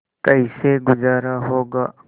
कैसे गुजारा होगा